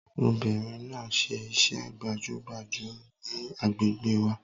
Obìnrin náà ṣe iṣẹ́ gbàjọgbàjọ ní àgbègbè wa